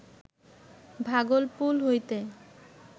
ভাগলপুল হইতে